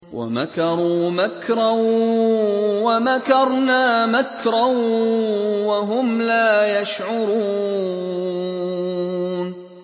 وَمَكَرُوا مَكْرًا وَمَكَرْنَا مَكْرًا وَهُمْ لَا يَشْعُرُونَ